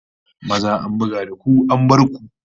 Maza an buga da ku an bar ku!